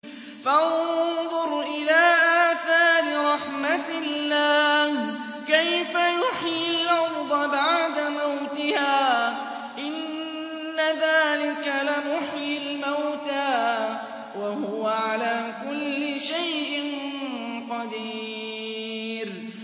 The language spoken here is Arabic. فَانظُرْ إِلَىٰ آثَارِ رَحْمَتِ اللَّهِ كَيْفَ يُحْيِي الْأَرْضَ بَعْدَ مَوْتِهَا ۚ إِنَّ ذَٰلِكَ لَمُحْيِي الْمَوْتَىٰ ۖ وَهُوَ عَلَىٰ كُلِّ شَيْءٍ قَدِيرٌ